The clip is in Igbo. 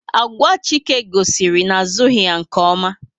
Agwa Chike gosiri na a zughi ya nke oma